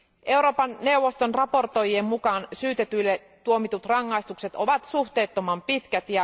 Euroopan neuvoston raportoijien mukaan syytetyille tuomitut rangaistukset ovat suhteettoman pitkät.